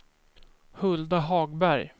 Hulda Hagberg